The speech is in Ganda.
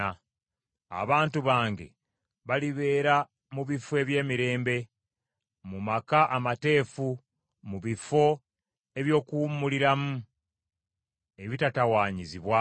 Abantu bange balibeera mu bifo eby’emirembe, mu maka amateefu mu bifo eby’okuwummuliramu ebitatawaanyizibwa.